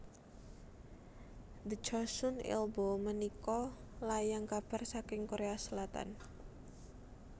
The Chosun Ilbo menika layang kabar saking Korea Selatan